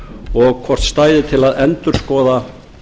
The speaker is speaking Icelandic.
og hvort stæði til að endurskoða